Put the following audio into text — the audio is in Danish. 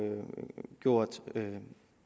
gjort